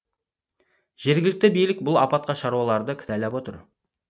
жергілікті билік бұл апатқа шаруаларды кінәлап отыр